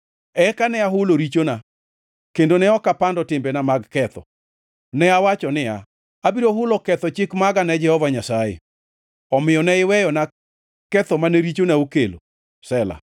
Eka ne ahulo richona kendo ne ok apando timbena mag ketho. Ne awacho niya, “Abiro hulo ketho chik maga ne Jehova Nyasaye.” Omiyo ne iweyona ketho mane richona okelo. Sela